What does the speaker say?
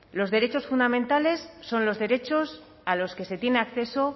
los derechos fundamentales son los derechos a los que se tiene acceso